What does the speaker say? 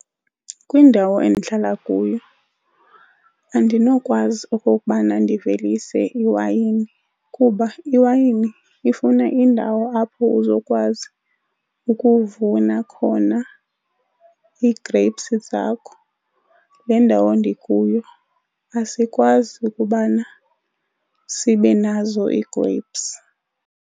Kwindawo endihlala kuyo andinokwazi okokubana ndivelise iwayini kuba iwayini ifuna indawo apho uzokwazi ukuvuna khona ii-grapes zakho. Le ndawo ndikuyo asikwazi ukubana sibe nazo ii-grapes.